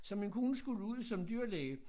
Så min kone skulle ud som dyrlæge